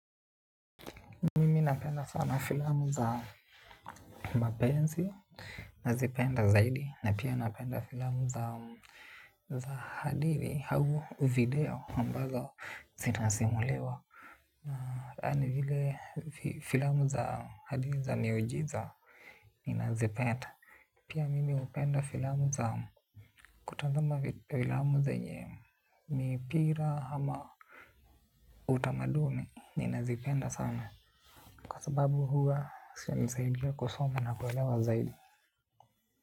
Mimi napenda sana filamu za mapenzi. Nazipenda zaidi. Na pia napenda filamu za hadiri au video ambazo zinasimuliwa. Na yani vile filamu za hadiri za miujiza Ninazipenda. Pia mimi hupenda filamu za kutazama filamu zenye mipira ama utamaduni. Ninazipenda sana. Kwa sababu huwa, zinanisaidi kusoma na kuelewa zaidi.